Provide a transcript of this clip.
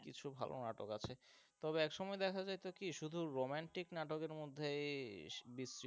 কিছু ভালো নাটক আছে, তবে একসময় দেখা যাইতো কি শুধু রোম্যান্টিক নাটকের মধ্যে